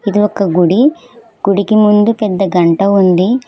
ఇది ఒక గుడి గుడికి ముందు పెద్ద గంట ఉంది.